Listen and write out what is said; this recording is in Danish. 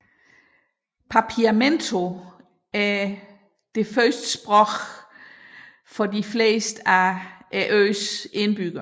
Papiamento er førstesproget for de fleste af øens indbyggere